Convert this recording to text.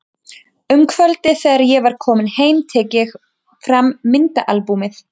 Um kvöldið þegar ég er kominn heim tek ég fram myndaalbúmið.